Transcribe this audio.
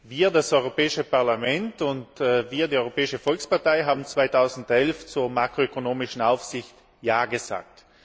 Wir, das Europäische Parlament, und wir, die Europäische Volkspartei, haben 2011 zur makroökonomischen Aufsicht Ja gesagt.